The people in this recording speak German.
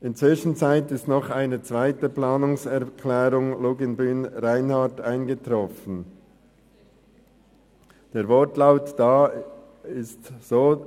In der Zwischenzeit ist noch eine zweite Planungserklärung Luginbühl/Reinhard mit folgendem Wortlaut eingetroffen: